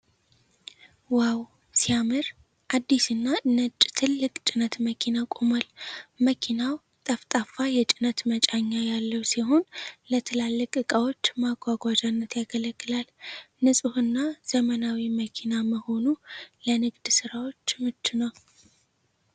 ዋው ሲያምር ! አዲስና ነጭ ትልቅ ጭነት መኪና ቆሟል። መኪናው ጠፍጣፋ የጭነት መጫኛ ያለው ሲሆን፣ ለትላልቅ ዕቃዎች ማጓጓዣነት ያገለግላል። ንጹህና ዘመናዊ መኪና መሆኑ ለንግድ ሥራ ምቹ ነው ።